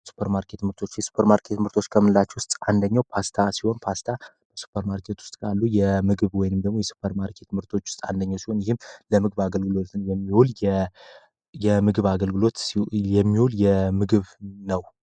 የሱፐር ማርኬት ምርቶች የሱፐርማርኬት ምርቶች ከምንላቸው ውስጥ አንደኛው ፓስታ ሲሆን ፓስታ ሱፐር ማርኬት ውስጥ ካሉ የምግብ ወይም የሱፐር ማርኬት ምርቶች ውስጥ አንደኛው ሲሆን ይህም ለምግብ አገልግሎት የሚውል ምግብ ነው።